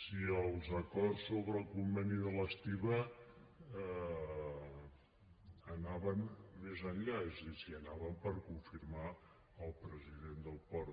si els acords sobre el conveni de l’estiba anaven més enllà és a dir si anaven per confirmar el president del port